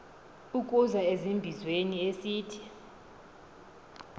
ukuza ezimbizweni esithi